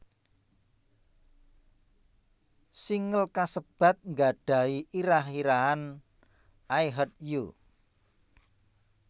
Singel kasebat nggadhahi irah irahan I Heart You